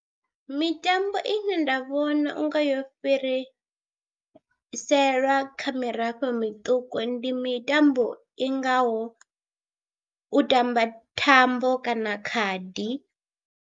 Mitambo ine nda vhona u nga yo fhiriselwa kha mirafho miṱuku ndi mitambo i ngaho, u tamba thambo kana khadi.